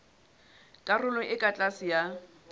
karolong e ka tlase ya